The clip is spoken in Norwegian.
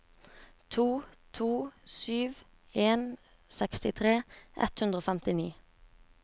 to to sju en sekstitre ett hundre og femtini